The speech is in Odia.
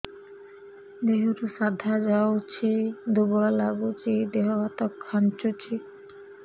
ଦେହରୁ ସାଧା ଯାଉଚି ଦୁର୍ବଳ ଲାଗୁଚି ଦେହ ହାତ ଖାନ୍ଚୁଚି